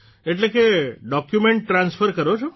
એટલે કે document transfer કરો છો